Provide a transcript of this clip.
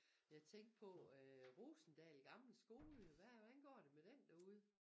Jeg tænkte på øh Rosendal gamle skole hvad hvordan går det med den derude